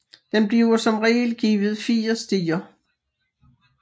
Den bliver som regel givet fire stier